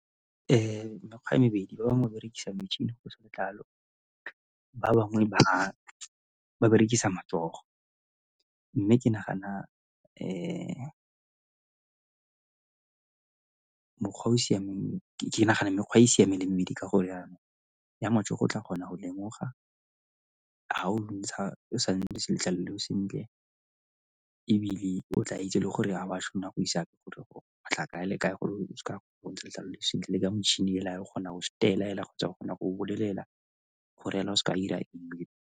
Mekgwa e mebedi, ba bangwe ba berekisa metšhini go ntsha letlalo, ba bangwe ba berekisa matsogo. Mme ke nagana mokgwa o o siameng, ke nagana mekgwa e e siame e le mebedi ka gore yana ya matsogo o tla kgona go lemoga ga o o sa ntshe letlalo leo sentle le go sentle ebile o tla itse le gore ga o a tshwanela go isa kae le kae o ntshe letlalo le sentle le ka metšhini hela o kgona go setela hela kgotsa ba kgona go bolelela go o seka 'ira .